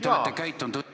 Te olete käitunud õilsalt.